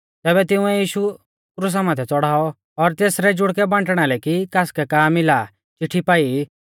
तैबै तिंउऐ यीशु क्रुसा माथै च़ौड़ाऔ और तेसरै जुड़कै बांटणा लै कि कासकै का मिला आ चिट्ठी पाई